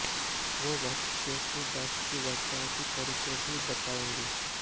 वे बच्चों के दस्त के बचाव के तरीके भी बताएंगी